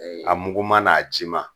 a muguma n'a jima